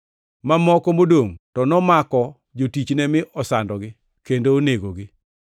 Mamoko modongʼ to nomako jotichne mi osandogi kendo onegogi.